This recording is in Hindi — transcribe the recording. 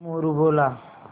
मोरू बोला